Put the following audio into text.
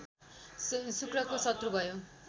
शुक्रको शत्रु भयो